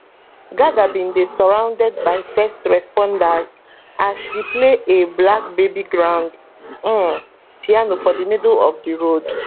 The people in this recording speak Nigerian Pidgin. gaga bin dey surrounded by first responders as she play a black baby grand um piano for di middle of di road